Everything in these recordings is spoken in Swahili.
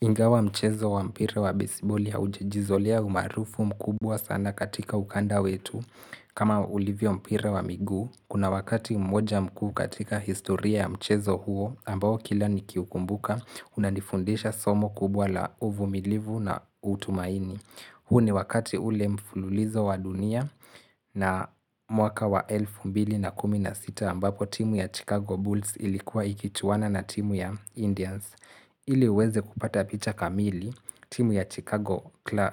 Ingawa mchezo wa mpira wa besiboli haujajizolea umaarufu mkubwa sana katika ukanda wetu. Kama ulivyo mpira wa miguu, kuna wakati mmoja mkuu katika historia ya mchezo huo ambao kila nikiukumbuka unanifundisha somo kubwa la uvumilivu na tumaini. Huu ni wakati ule mfululizo wa dunia na mwaka wa elfu mbili na kumi na sita ambapo timu ya Chicago Bulls ilikuwa ikichuana na timu ya Indians. Ili uweze kupata picha kamili, timu ya Chicago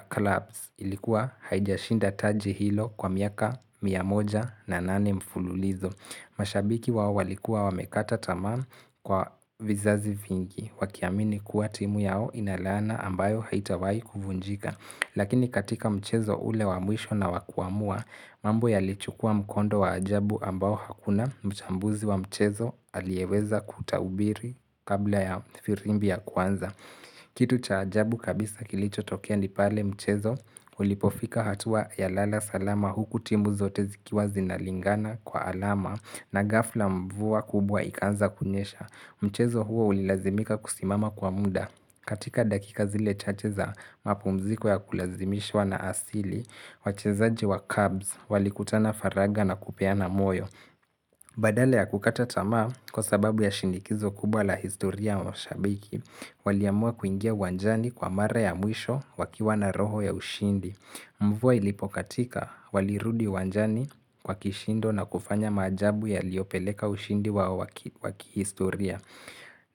Clubs ilikuwa haijashinda taji hilo kwa miaka mia moja na nane mfululizo. Mashabiki wao walikuwa wamekata tamaa kwa vizazi vingi, wakiamini kuwa timu yao ina laana ambayo haitawahi kuvunjika. Lakini katika mchezo ule wa mwisho na wa kuamua, mambo yalichukua mkondo wa ajabu ambao hakuna mchambuzi wa mchezo aliyeweza kutabiri kabla ya firimbi ya kwanza. Kitu cha ajabu kabisa kilichotokea ni pale mchezo ulipofika hatua ya lala salama huku timu zote zikiwa zinalingana kwa alama na ghafla mvua kubwa ikaanza kunyesha. Mchezo huo ulilazimika kusimama kwa muda. Katika dakika zile chache za mapumziko ya kulazimishwa na asili, wachezaji wa cubs walikutana faragha na kupeana moyo. Badala ya kukata tamaa kwa sababu ya shinikizo kubwa la historia ya mashabiki, waliamua kuingia uwanjani kwa mara ya mwisho wakiwa na roho ya ushindi. Mvua ilipokatika walirudi uwanjani kwa kishindo na kufanya maajabu yaliyopeleka ushindi wao wa kihistoria.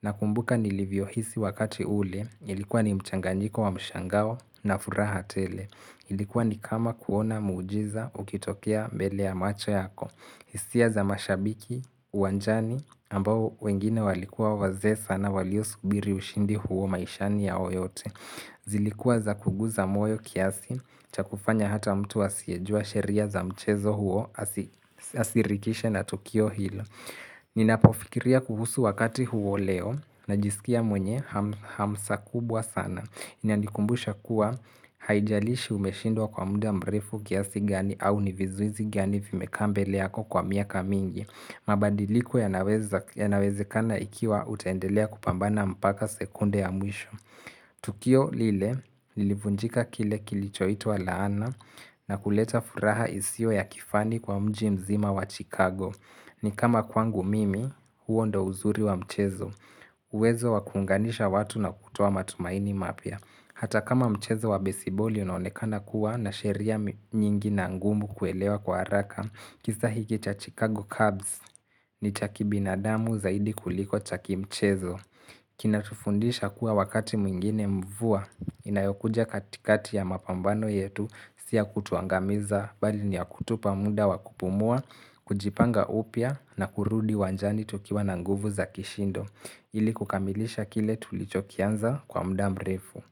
Nakumbuka nilivyohisi wakati ule, ilikuwa ni mchanganyiko wa mshangao na furaha tele. Ilikuwa ni kama kuona muujiza ukitokea mbele ya macho yako. Hisia za mashabiki uwanjani, ambao wengine walikuwa wazee sana waliosubiri ushindi huo maishani yao yote. Zilikuwa za kuguza moyo kiasi cha kufanya hata mtu asiyejua sheria za mchezo huo asirikishe na tukio hilo. Ninapofikiria kuhusu wakati huo leo najisikia mwenye hamsa kubwa sana inanikumbusha kuwa haijalishi umeshindwa kwa muda mrefu kiasi gani au ni vizuizi gani vimekaa mbele yako kwa miaka mingi mabadiliko yanaweza yanawezekana ikiwa utaendelea kupambana mpaka sekunde ya mwisho. Tukio lile lilivunjika kile kilichoitwa laana na kuleta furaha isiyo ya kifani kwa mji mzima wa Chicago. Ni kama kwangu mimi, huo ndio uzuri wa mchezo. Uwezo wa kuunganisha watu na kutoa matumaini mapya. Hata kama mchezo wa besiboli unaonekana kuwa na sheria nyingi na ngumu kuelewa kwa haraka, kisa hiki cha Chicago Cubs ni cha kibinadamu zaidi kuliko cha kimchezo. Kinatufundisha kuwa wakati mwingine mvua inayokuja katikati ya mapambano yetu si ya kutuangamiza bali ni ya kutupa muda wa kupumua, kujipanga upya na kurudi uwanjani tukiwa na nguvu za kishindo. Ili kukamilisha kile tulichokianza kwa muda mrefu.